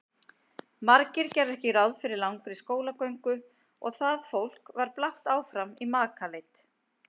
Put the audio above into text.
Margir gerðu ekki ráð fyrir langri skólagöngu og það fólk var blátt áfram í makaleit.